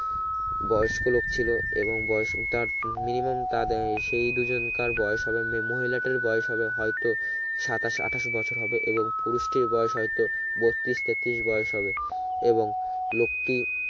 বয়স্ক লোক ছিলো এবং বয়স তার নিমা তাদে সে দুজনকার বয়স হবে মহিলা টার বয়স হবে হয়তো সাতাশ আঠাস বছর হবে এবং পুরুষ টির বয়স হয়ত বত্রিশ তেতত্রিশ বয়স হবে এবং লোকটি